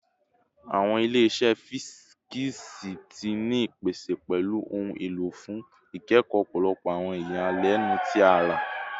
Awọn ile-iṣẹ fisiksi ti ni ipese pẹlu ohun elo fun ikẹkọ ọpọlọpọ awọn iyalẹnu ti ara